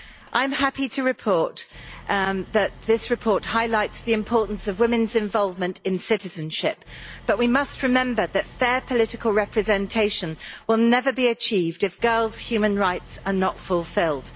I am happy to report that this report highlights the importance of women's involvement in citizenship, but we must remember that fair political representation will never be achieved if girls' human rights are not fulfilled.